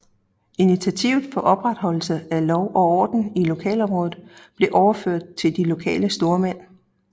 Initiativet for opretholdelse af lov og orden i lokalområdet blev overført til de lokale stormænd